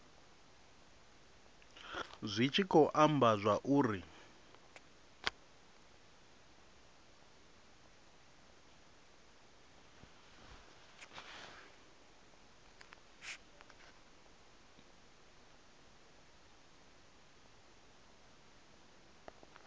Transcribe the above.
zwi tshi khou amba zwauri